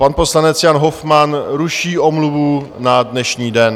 Pan poslanec Jan Hofmann ruší omluvu na dnešní den.